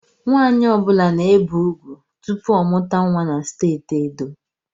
Nwanyi ọbula na-ebe ugwu tụpụ ọ mụta nwa na steeti Edo